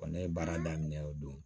Ne ye baara daminɛ o don